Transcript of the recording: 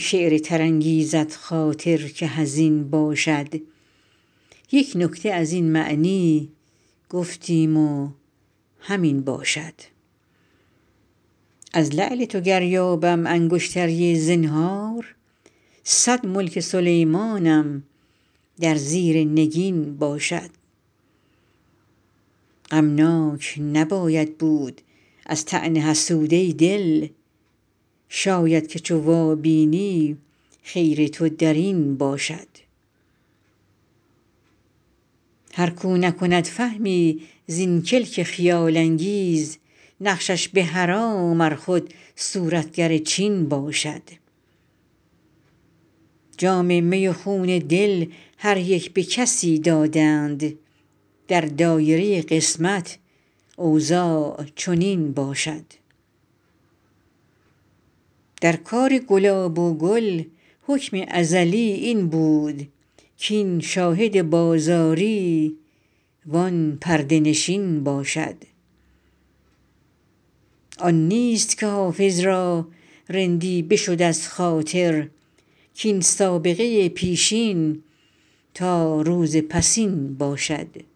شعر تر انگیزد خاطر که حزین باشد یک نکته از این معنی گفتیم و همین باشد از لعل تو گر یابم انگشتری زنهار صد ملک سلیمانم در زیر نگین باشد غمناک نباید بود از طعن حسود ای دل شاید که چو وابینی خیر تو در این باشد هر کاو نکند فهمی زین کلک خیال انگیز نقشش به حرام ار خود صورتگر چین باشد جام می و خون دل هر یک به کسی دادند در دایره قسمت اوضاع چنین باشد در کار گلاب و گل حکم ازلی این بود کاین شاهد بازاری وان پرده نشین باشد آن نیست که حافظ را رندی بشد از خاطر کاین سابقه پیشین تا روز پسین باشد